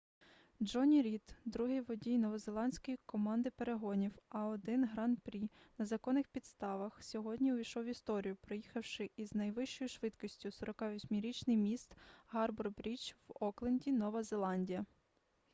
джонні рід другий водій новозеландської команди перегонів a1 гран-прі на законних підставх сьогодні увійшов в історію проїхавши із найвищою швидкістю 48-річний міст гарбор-брідж в окленді нова зеландія